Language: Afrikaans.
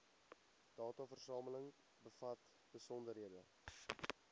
dataversameling bevat besonderhede